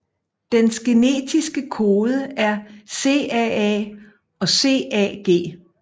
Dens genetiske kode er CAA og CAG